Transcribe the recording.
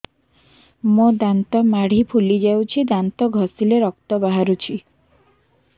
ମୋ ଦାନ୍ତ ମାଢି ଫୁଲି ଯାଉଛି ଦାନ୍ତ ଘଷିଲେ ରକ୍ତ ବାହାରୁଛି